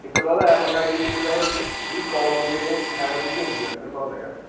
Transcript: ਇਕ ਤਾ ਇਹ ਪੰਗਾ ਇਹ ਇਕ ਤਾ ਇਹ ਜਿਹੜੀ call ਹੁੰਦੀ ਆ ਇਹ hands-free ਤੇ ਹੁੰਦੀ ਹੈ ਤੈਨੂੰ ਪਤਾ ਤਾ ਹੈਗਾ